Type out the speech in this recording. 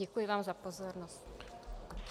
Děkuji vám za pozornost.